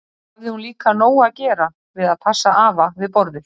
Svo hafði hún líka nóg að gera við að passa afa við borðið.